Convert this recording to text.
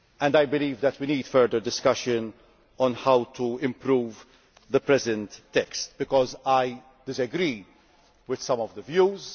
I believe that we need further discussion on how to improve the current text, as I disagree with some of the views.